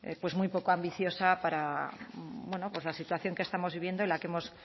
pues muy poco ambiciosa para bueno pues la situación que estamos viviendo y la que hemos